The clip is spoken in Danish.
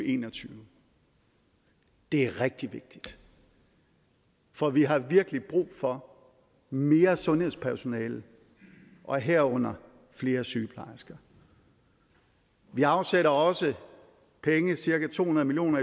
en og tyve det er rigtig vigtigt for vi har virkelig brug for mere sundhedspersonale og herunder flere sygeplejersker vi afsætter også penge cirka to hundrede million